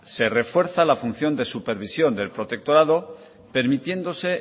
se refuerza la función de supervisión del protectorado permitiéndose